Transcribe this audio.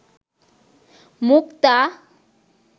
মুক্তা